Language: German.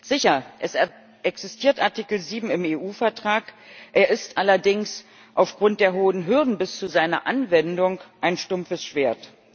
Sicher, es existiert Artikel 7 im EU Vertrag, er ist allerdings aufgrund der hohen Hürden bis zu seiner Anwendung ein stumpfes Schwert.